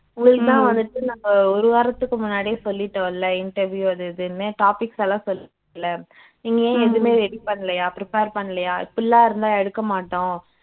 தான் வந்துட்டு நாங்க ஒரு வாரத்துக்கு முன்னடியே சொல்லிட்டோம்ல interview அது இதுன்னு topics எல்லாம் சொல்லிட்டோம்ல நீங்க ஏன் எதுவுமே ready பண்ணலயா prepare பண்ணலயா இப்படியெல்லாம் இருந்தா எடுக்கமாட்டோம்